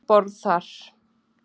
Fjórir um borð þar.